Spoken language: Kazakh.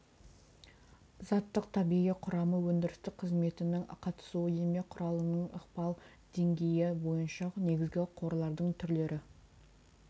заттық табиғи құрамы өндірістік қызметінің қатысуы еңбек құралының ықпал деңгейі бойынша негізгі қорлардың түрлері